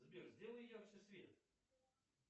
сбер сделай ярче свет